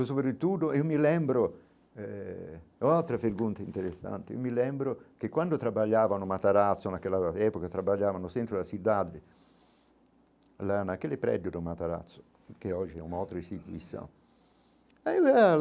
e sobre tudo eu me lembro eh... outra pergunta interessante, eu me lembro que quando eu trabalhava no Matarazzo naquela época, eu trabalhava no centro da cidade, lá naquele prédio do Matarazzo, que hoje é uma outra instituição.